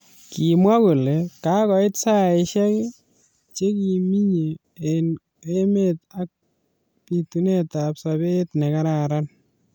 Kimwa kole kakoit saishek che kiminye eng emet ak bitunet ab sabet ne kararan.